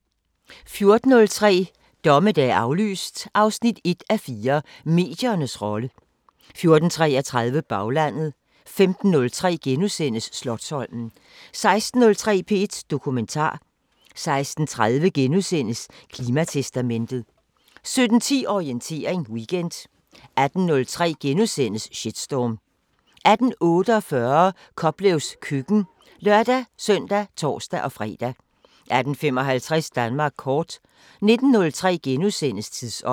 14:03: Dommedag aflyst 1:4 – Mediernes rolle 14:33: Baglandet 15:03: Slotsholmen * 16:03: P1 Dokumentar * 16:30: Klimatestamentet * 17:10: Orientering Weekend 18:03: Shitstorm * 18:48: Koplevs køkken (lør-søn og tor-fre) 18:55: Danmark kort 19:03: Tidsånd *